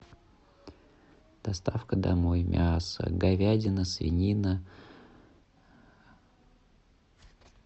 доставка домой мяса говядина свинина